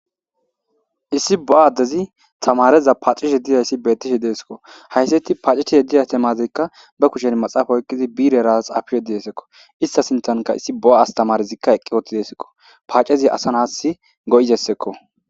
Issi bo'a addezi stamareza paacishe dizayssi beetishi deesekko haysseti paaceshe yeddi atemazeykka ba kushen maxaapa oykkizi biireras apiyedidessekko ista sintanka issi bo'a astamarezikka eqqi ooti deesekko paacezi asa nas go7izessekko.